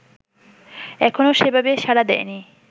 এখনও সেভাবে সাড়া দেয়নি